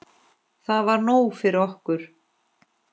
Það var nóg fyrir okkur.